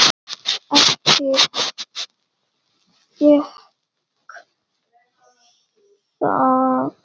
Ekki gekk það.